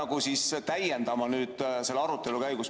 Kuidas peaks seda täiendama nüüd selle arutelu käigus?